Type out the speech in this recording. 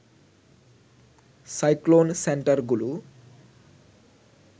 cyclone সেন্টারগুলো